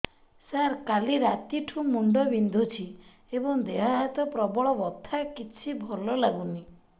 ସାର କାଲି ରାତିଠୁ ମୁଣ୍ଡ ବିନ୍ଧୁଛି ଏବଂ ଦେହ ହାତ ପ୍ରବଳ ବଥା କିଛି ଭଲ ଲାଗୁନି